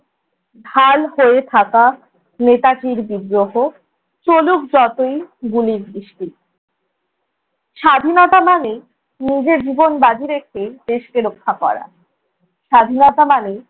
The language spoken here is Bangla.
ঢাল হয়ে থাকা নেতাজির বিদ্রোহ, চলুক যতই গুলির বৃষ্টি, স্বাধীনতা মানে নিজের জীবন বাজি রেখে দেশকে রক্ষা করা। স্বাধীনতা মানে